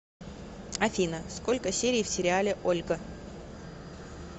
афина сколько серий в сериале ольга